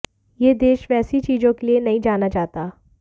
यह देश वैसी चीजों के लिए नहीं जाना जाता